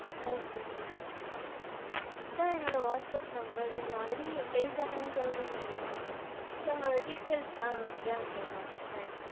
okay sir இதான் என்னோட whatsapp number நீங்க already place ஆனாங்க சொல்றிங்க இல்லையா அவங்க details ஆ yeah sir, yaeh.